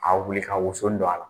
A bɛ wili ka wosoni don a la.